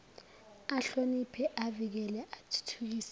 ahloniphe avikele athuthukise